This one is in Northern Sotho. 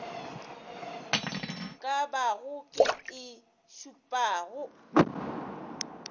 ka bago ye e šupago